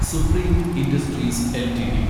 supreme Industries LTD